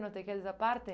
Não te queres a parte?